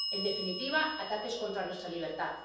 en definitiva, ataques contra nuestra libertad.